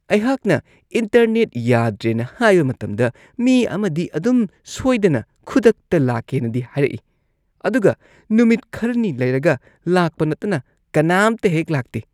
ꯑꯩꯍꯥꯛꯅ ꯏꯟꯇꯔꯅꯦꯠ ꯌꯥꯗ꯭ꯔꯦꯅ ꯍꯥꯏꯕ ꯃꯇꯝꯗ ꯃꯤ ꯑꯃꯗꯤ ꯑꯗꯨꯝ ꯁꯣꯏꯗꯅ ꯈꯨꯗꯛꯇ ꯂꯥꯛꯀꯦꯅꯗꯤ ꯍꯥꯏꯔꯛꯏ ꯑꯗꯨꯒ ꯅꯨꯃꯤꯠ ꯈꯔꯅꯤ ꯂꯩꯔꯒ ꯂꯥꯛꯄ ꯅꯠꯇꯅ ꯀꯅꯥꯝꯇꯍꯦꯛ ꯂꯥꯛꯇꯦ ꯫